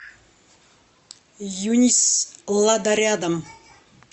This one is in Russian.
юнис лада рядом